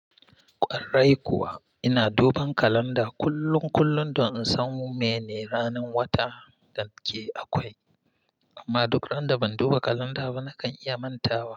Ƙwarai kuwa ina duban kalanda kullum kullum don in san mene ranar wata da ke akwai, amma duk randa ban duba kalanda ba nakan iya mantawa.